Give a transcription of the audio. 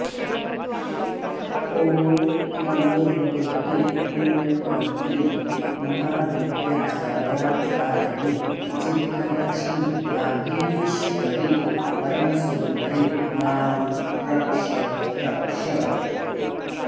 ॐ नमो भगवति पुण्यपवित्रि महाविद्यासर्वार्थसाधिनि सिद्धलक्ष्मि वागीश्वरि परमसुन्दरि मां रक्ष रक्ष